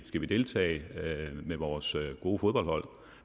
skal deltage med vores gode fodboldhold